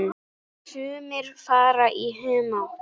Sumir fara í humátt.